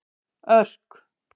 Örk